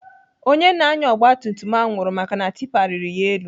Onye na-anya ogbatumtum ahụ nwụrụ maka na tipa riri ya elu.